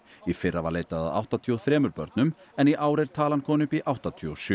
í fyrra var leitað að áttatíu og þrem börnum en í ár er talan komin upp í áttatíu og sjö